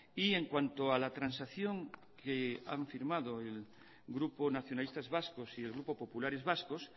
y en cuanto a la transacción que han firmado el grupo nacionalistas vascos y el grupo populares vascos